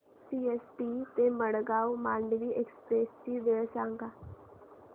CST ते Madgaon Mandovi express ची वेळ सांगा